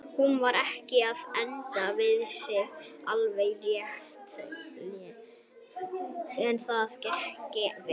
Var hún ekki að enda við að segja alveg réttilega að það gengi ekki?